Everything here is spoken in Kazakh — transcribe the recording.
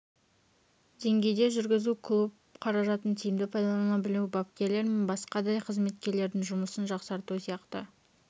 деңгейде жүргізу клуб қаражатын тиімді пайдалана білу бапкерлер мен басқа да қызметкерлердің жұмысын жақсарту сияқты